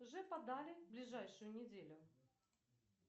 уже подали ближайшую неделю